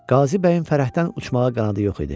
Qazı bəyin fərəhdən uçmağa qanadı yox idi.